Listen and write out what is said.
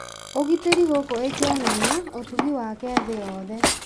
ũgitĩri gũkũ ĩkĩonania ũtugi wake thĩ yothe